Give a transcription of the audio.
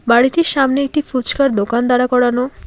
বাড়িটির সামনে একটি ফুচকার দোকান দাঁড়া করানো।